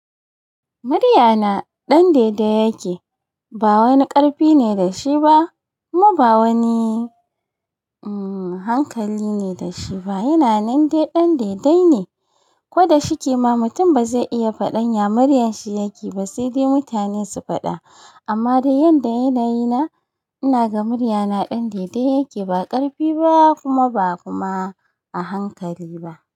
Muryana ɗan daidai yake, ba wani ƙarfi ne da shi ba kuma ba wani, uhm, hankali ne da shi ba. Yana nan dai ɗan daidai ne. Ko da shike ma mutum ba zai iya faɗan ya muryar shi yake ba sai dai mutane su faɗa. Amma da yanda yanayi na, ina da muryana ɗan daidai yake ba ƙarfi ba kuma ba kuma a hankali ba.